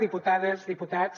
diputades diputats